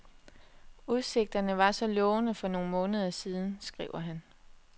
Udsigterne var så lovende for nogle måneder siden, skriver han.